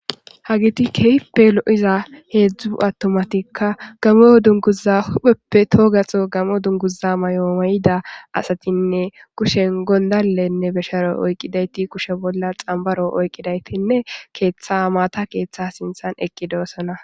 Hagiti keippe lo'iza heedzdzu attomatikka gameo dunguza hupheppe toogaho gamo dunguza may'o mayida asatinne kushen gondallenne besharo oyqqidayti kushe bolla xambaro oyqqidaytinne keeththa maata keeththa sinthan eqqi doossana.